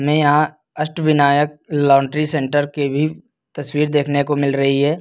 में यहां Ashtavinayak laundry centre के भी तस्वीर देखने को मिल रही है।